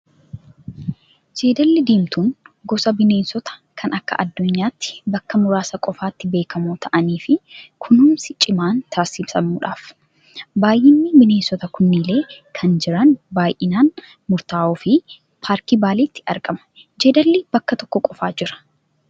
Jeedalli diimtuun gosa bineensotaa kan akka addunyaatti bakka muraasa qofaatti beekamoo ta'anii fi kunuunsi cimaan taasifamudhaaf. Baay'inni bineensotaa kunillee kan jiran baay'ee murtaa'oo fi paarkii Baaleetti argama. Jeedalli bakka tokko qofaa jira.